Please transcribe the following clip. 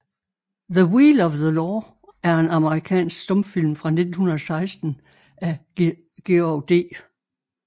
The Wheel of the Law er en amerikansk stumfilm fra 1916 af George D